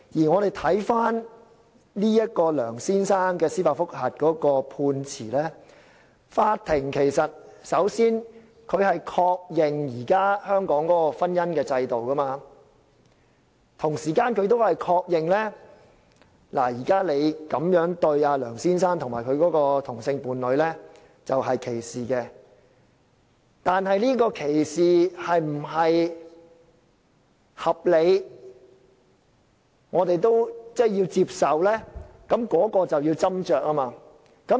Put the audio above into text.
我們回看這位梁先生提出的司法覆核的判詞，法庭首先確認香港現時的婚姻制度，同時亦確認這樣對待梁先生及其同性伴侶屬於歧視，但這種歧視是否合理及令我們接受的呢？